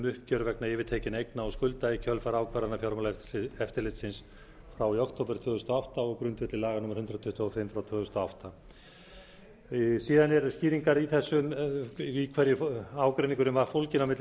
uppgjör vegna yfirtekinna eigna og skulda í kjölfar ákvarðana fjármálaeftirlitsins frá í október tvö þúsund og átta á grundvelli laga númer hundrað tuttugu og fimm tvö þúsund og átta síðan eru skýringar í hverju ágreiningurinn var fólginn á milli